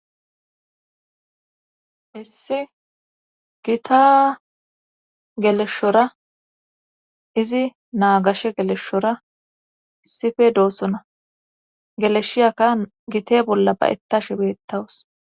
Issi gita geleshshora izi naa gashe geleshora issife doossona geleshshiyakka gite bolla ba7ettashe beettawus